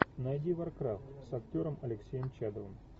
найди варкрафт с актером алексеем чадовым